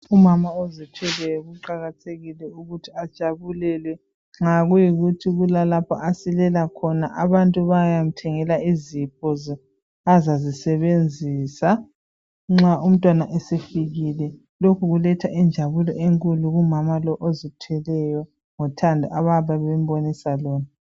Umama ozithweleyo kuqakathekile ukuthi ajabulelwe nxa kuyikuthi kulalapho asilela khona abantu bayamthengela izipho azazisebenzisa nxa umntwana esefikile lokhu kuletha injabulo enkulu kumama lo ozithweleyo ngothando abayabe bembonisa lona.